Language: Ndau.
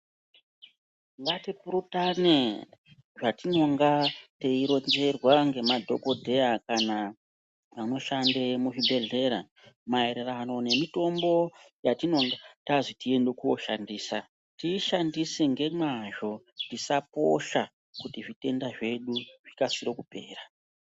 Ngatipurutane zvetinonga teironzerwa nemadhokodheya kana vanoshande muzvibhedhleya maererano nemitombo yatinenge tazi tiende kooshandisa tiishandise ngemwazvo tisaposha kuti zvitenda zvedu zvikasire kupera.